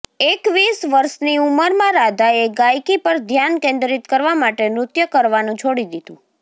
એકવીસ વર્ષની ઉંમરમાં રાધાએ ગાયકી પર ધ્યાન કેન્દ્રિત કરવા માટે નૃત્ય કરવાનું છોડી દીધું